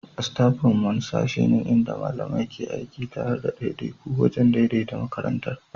Staffroom wani sashe ne inda malamai ke aiki tare da ɗaiɗaiku wajen daidaita makarantar.